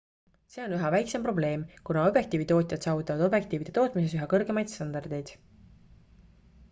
see on üha väiksem probleem kuna objektiivitootjad saavutavad objektiivide tootmises üha kõrgemaid standardeid